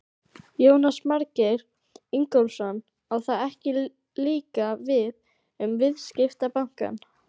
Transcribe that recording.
Jónas Margeir Ingólfsson: Á það ekki líka við um viðskiptabankana?